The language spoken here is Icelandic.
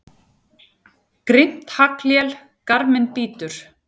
Grimmt haglél garminn bítur.